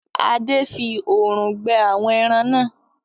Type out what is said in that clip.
Ade! fí òòrùn gbẹ àwọn èràn nà.